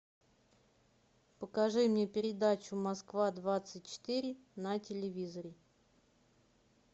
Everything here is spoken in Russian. покажи мне передачу москва двадцать четыре на телевизоре